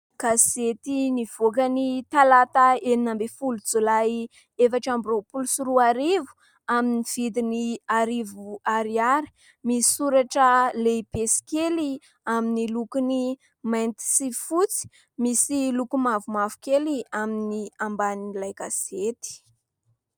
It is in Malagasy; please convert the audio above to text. Gazety nivoaka ny Talata enina ambin'ny folo Jolay efatra amby roapolo sy roa arivo, amin'ny vidiny arivo ariary. Misy soratra lehibe sy kely amin'ny lokony mainty sy fotsy ; misy loko mavomavo kely amin'ny ambanin'ilay gazety.